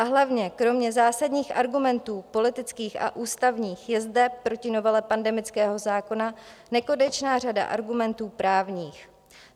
A hlavně kromě zásadních argumentů politických a ústavních je zde proti novele pandemického zákona nekonečná řada argumentů právních.